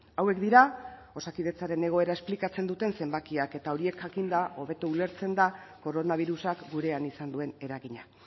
hauek dira osakidetzaren egoera esplikatzen duten zenbakiak eta horiek jakinda hobeto ulertzen da koronabirusak gurean izan duen eragina